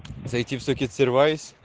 зайти с сокет сервайс